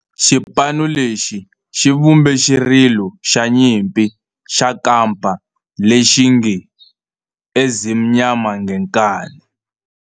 Xipano lexi xi vumbe xirilo xa nyimpi xa kampa lexi nge 'Ezimnyama Ngenkani'.